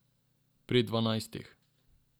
Pri dvanajstih.